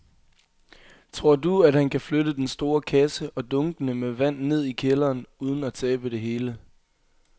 Tror du, at han kan flytte den store kasse og dunkene med vand ned i kælderen uden at tabe det hele?